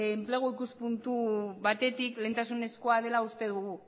enplegu ikuspuntu batetik lehentasunezkoa dela uste dugu